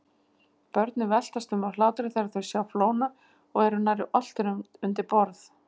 Börnin veltast um af hlátri þegar þau sjá flóna og eru nærri oltin undir borð.